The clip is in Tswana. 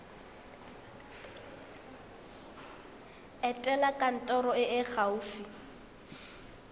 etela kantoro e e gaufi